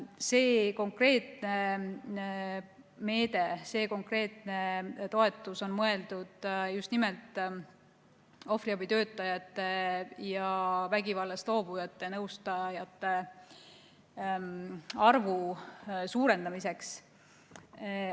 See konkreetne meede, see konkreetne toetus on mõeldud just nimelt ohvriabitöötajate ja vägivallast loobujate nõustajate arvu suurendamiseks.